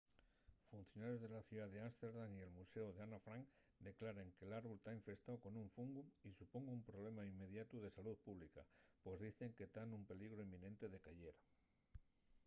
funcionarios de la ciudá d’ámsterdam y el muséu d’anne frank declaren que l’árbol ta infestáu con un fungu y supón un problema inmediatu de salú pública pos dicen que ta nun peligru inminente de cayer